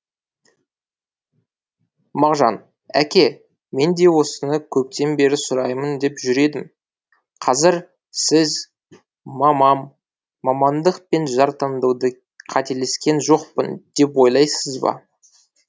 мағжан әке мен де осыны көптен бері сұраймын деп жүр едім қазір сіз мамам мамандық пен жар таңдауда кетелескен жоқпын деп ойлайсыз ба